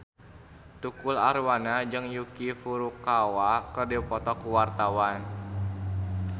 Tukul Arwana jeung Yuki Furukawa keur dipoto ku wartawan